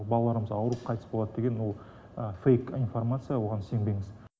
балаларымыз ауырып қайтыс болады деген ол фэйк информация оған сенбеңіз